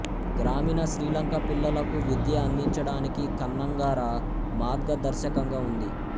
గ్రామీణ శ్రీలంక పిల్లలకు విద్య అందించడానికి కన్నంగరా మాద్గదర్శకంగా ఉంది